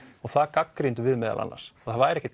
og það gagnrýndum við meðal annars að það væri ekkert